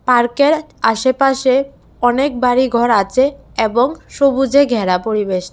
পার্কের আশেপাশে অনেক বাড়িঘর আছে এবং সবুজে ঘেরা পরিবেশটা।